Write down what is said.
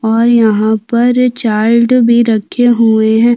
और यहाँ पर चार्ट भी रखे हुए है।